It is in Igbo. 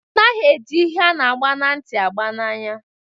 Anaghị eji ihe ana agba na nti agba n'anya